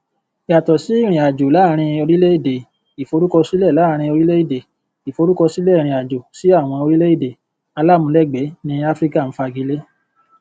yàtọ sí irinajo láàrin orílèèdè iforukọsilẹ láàrin orílèèdè iforukọsilẹ irinajo sí àwọn orílẹèdè alamulegbe ní áfríkà n fagilé